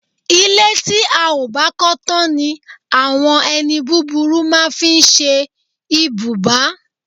Ilé tí a ò bá kó̩ tán ni àwo̩n e̩ni búburú máa ń fí s̩e ibùbá